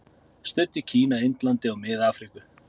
Studd í Kína, Indlandi og Mið-Afríku.